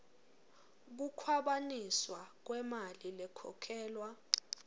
kukhwabanisa kwemali lekhokhelwa